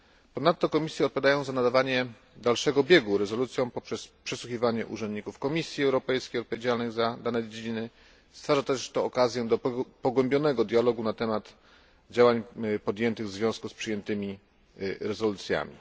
Ponadto komisje odpowiadają za nadawanie dalszego biegu rezolucjom poprzez przesłuchiwanie urzędników Komisji Europejskiej odpowiedzialnych za dane dziedziny. Stwarza też to okazję do pogłębionego dialogu na temat działań podjętych w związku z przyjętymi rezolucjami.